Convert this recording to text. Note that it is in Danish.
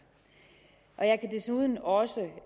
jeg kan desuden også